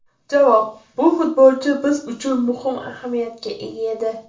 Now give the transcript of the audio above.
Javob: Bu futbolchi biz uchun muhim ahamiyatga ega edi.